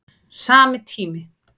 Sami tími